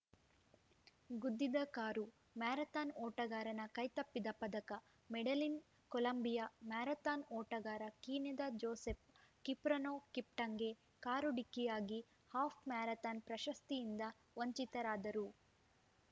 ಗುದ್ದಿದ car marathon ಓಟಗಾರನ ಕೈತಪ್ಪಿದ ಪದಕ ಮೆಡೆಲಿನ್‌ಕೊಲಂಬಿಯಾ ಮ್ಯಾರಥಾನ್‌ ಓಟಗಾರ ಕೀನ್ಯಾದ ಜೋಸೆಫ್‌ ಕಿಪ್ರೊನೋ ಕಿಪ್ಟಂಗೆ ಕಾರು ಡಿಕ್ಕಿಯಾಗಿ ಹಾಫ್‌ ಮ್ಯಾರಥಾನ್‌ ಪ್ರಶಸ್ತಿಯಿಂದ ವಂಚಿತರಾದರು